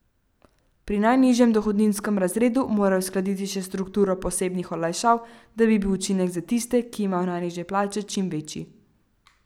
Pri najnižjem dohodninskem razredu morajo uskladiti še strukturo posebnih olajšav, da bi bil učinek za tiste, ki imajo najnižje plače, čim večji.